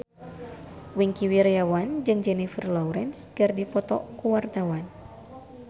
Wingky Wiryawan jeung Jennifer Lawrence keur dipoto ku wartawan